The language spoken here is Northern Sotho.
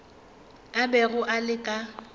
a bego a le ka